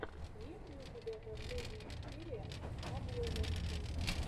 есть ли у тебя последняя серия обломоффа